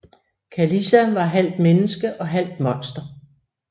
Kalisa var halvt menneske og halvt monster